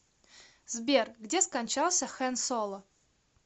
сбер где скончался хэн соло